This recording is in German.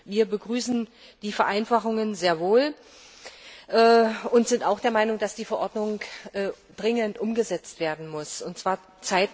Wir begrüßen die Vereinfachungen sehr wohl und sind auch der Meinung, dass die Verordnung dringend umgesetzt werden muss, und zwar bald.